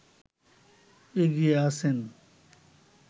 এগিয়ে আছেন